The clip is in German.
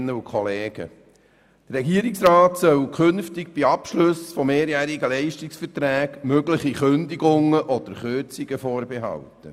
Der Regierungsrat soll künftig bei Abschlüssen von mehrjährigen Leistungsverträgen mögliche Kündigungen oder Kürzungen vorbehalten.